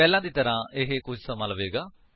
ਪਹਿਲਾਂ ਦੀ ਤਰ੍ਹਾਂ ਇਹ ਕੁੱਝ ਸਮਾਂ ਲਵੇਗਾ